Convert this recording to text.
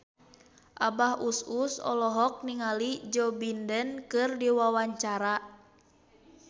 Abah Us Us olohok ningali Joe Biden keur diwawancara